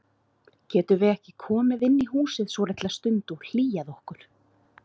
Getum við ekki komið inn í húsið svolitla stund og hlýjað okkur?